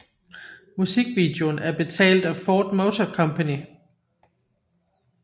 Musikvideoen er betalt af Ford Motor Company